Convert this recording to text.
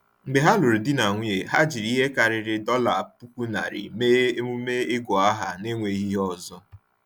Mgbe ha lụrụ di na nwunye, ha jiri ihe karịrị $10,000 mee emume ịgụ aha n’enweghị ihe ọzọ.